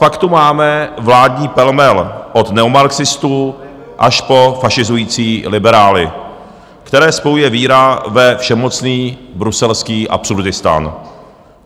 Pak tu máme vládní pelmel od neomarxistů až po fašizující liberály, které spojuje víra ve všemocný bruselský absurdistán.